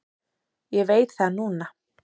Ég veit það núna.